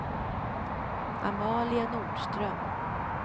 Amalia Nordström